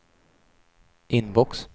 inbox